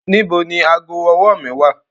Nibo ni aago-ọwọ mi wa